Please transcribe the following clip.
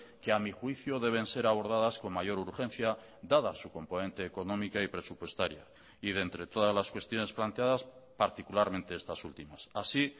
que a mi juicio deben ser abordadas con mayor urgencia dada su componente económica y presupuestaria y de entre todas las cuestiones planteadas particularmente estas últimas así